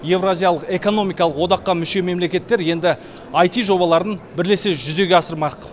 еуразиялық экономикалық одаққа мүше мемлекеттер енді ай ти жобаларды бірлесе жүзеге асырмақ